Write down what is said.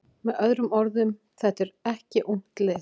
Með öðrum orðum: Þetta er ekki ungt lið.